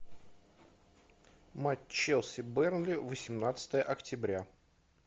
матч челси бернли восемнадцатое октября